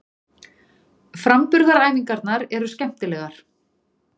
Framburðaræfingarnar eru skemmtilegar.